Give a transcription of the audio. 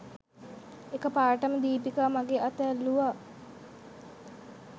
එකපාරටම දීපිකා මගෙ අත ඇල්ලුවා